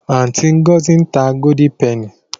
Aunty Ngozi n ta Golden Penny.